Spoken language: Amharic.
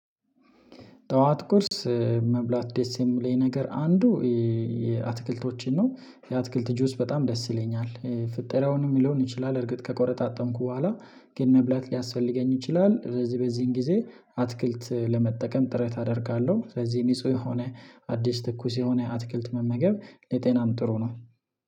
ጠዋት ቁርስ መብላት ደስ የሚለኝ ነገር አንዱ የአትክልቶችን ነው። የአትክልት ጁስ በጣም ደስ ይለኛል ፍጥረውን የሚለውን ይችላል እርግጥ ከቆረጣጠምኩ በኋላ ግን መብላት ሊያስፈልገኝ ይችላል። ስለዚህ በዚህን ጊዜ አትክልት ለመጠቀም ጥረት አደርጋለሁ። ስለዚህ ንጹህ የሆነ አዲስ ትኩስ የሆነ አትክልት መመገብ ለጤናም ጥሩ ነው